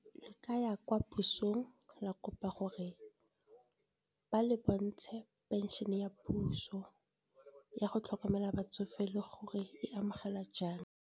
Le ka ya kwa pusong, la kopa gore ba le bontshe pension ya puso. Ya go tlhokomela batsofe le gore e amogela jang.